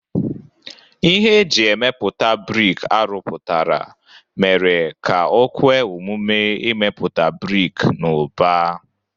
Ihe e ji emepụta brik a rụpụtara mere ka o kwe omume imepụta brik n'ụba.